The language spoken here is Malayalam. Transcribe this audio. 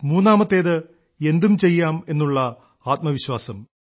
മൂന്നാമത്തേത് എന്തും ചെയ്യാം എന്നുള്ള ആത്മവിശ്വാസം